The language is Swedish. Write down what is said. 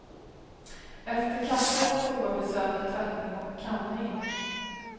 Efter kaffet toabesök, tvättning och kamning.